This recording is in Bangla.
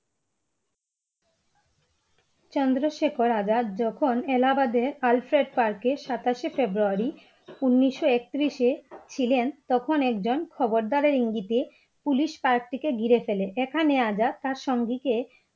চন্দ্রশেখর আজাদ যখন এলাহাবাদে Alfred Park এ সাতশে ফেব্রুয়ারী উনিশশো একত্রিশে ছিলেন তখন একজন খবরদার ইঙ্গিতে police Park টিকে ঘিরে ফেলে এখানে আজাদ তার সঙ্গীকে